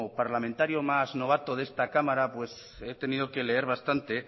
parlamentario más novato de esta cámara he tenido que leer bastante